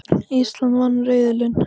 Ísland vann riðilinn